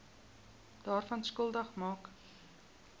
daaraan skuldig maak